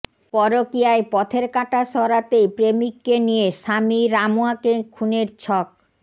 পরকীয়ায় পথের কাঁটা সরাতেই প্রেমিককে নিয়ে স্বামী রামুয়াকে খুনের ছক